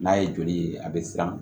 N'a ye joli ye a bɛ siran